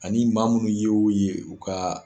Ani maa munnu ye y'o ye u ka